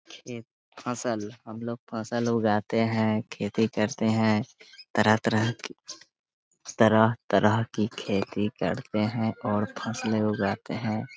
एक फसल हम लोग फसल उगाते हैं खेती करते हैं तरह-तरह की तरह-तरह कि खेती करते हैं और फ़सले उगाते हैं।